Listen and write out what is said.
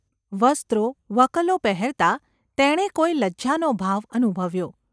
વસ્ત્રો–વકલો–પહેરતાં તેણે કોઈ લજ્જાનો ભાવ અનુભવ્યો.